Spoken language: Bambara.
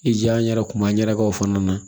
I ja n yɛrɛ kuma n yɛrɛ ka o fana na